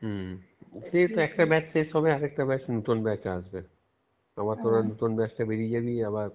হম সেতো একটা batch শেষ হবে আরেকটা batch আবার তোরা নতুন আসবে আবার তোরা নতুন আবার তোরা batchটা বেরিয়ে যাবি আবার